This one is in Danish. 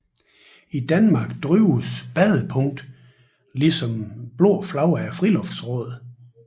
I Danmark drives Badepunkt ligesom det Blå Flag af Friluftsrådet